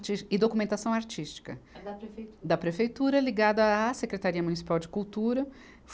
e documentação artística. É da prefeitura. Da prefeitura ligada à Secretaria Municipal de Cultura.